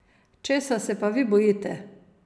Česa se pa vi bojite?